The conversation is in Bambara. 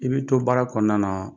I bɛ to baara kɔnɔna na